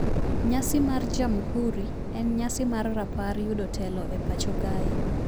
Nyasi mar Jamhuri en nyasi mar rapar yudo telo e pacho kae